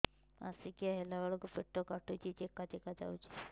ମାସିକିଆ ହେଲା ବେଳକୁ ପେଟ କାଟୁଚି ଚେକା ଚେକା ଯାଉଚି